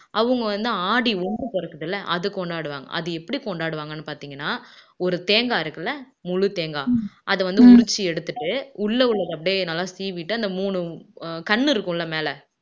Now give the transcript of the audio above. அவங்க வந்து ஆடி வம்பு பொறக்குதுல்ல அதை கொண்டாடுவாங்க அது எப்படி கொண்டாடுவாங்கன்னு பாத்தீங்கன்னா ஒரு தேங்காய் இருக்குல்ல முழு தேங்காய் அதை வந்து உறிச்சு எடுத்துட்டு உள்ள உள்ளத அப்படியே நல்லா சீவிட்டு அந்த மூணு கண்ணு இருக்கும்ல மேல